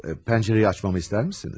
Pəncərəyi açmamı istərmisiniz?